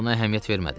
Buna əhəmiyyət vermədim.